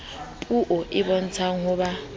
puo e bontshang ho ba